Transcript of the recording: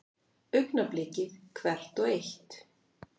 Augnablikið hvert og eitt.